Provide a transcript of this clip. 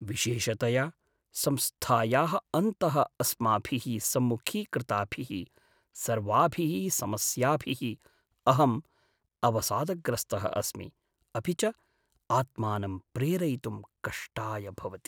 विशेषतया संस्थायाः अन्तः अस्माभिः सम्मुखीकृताभिः सर्वाभिः समस्याभिः अहं अवसादग्रस्तः अस्मि, अपि च आत्मानं प्रेरयितुं कष्टाय भवति।